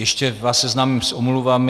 Ještě vás seznámím s omluvami.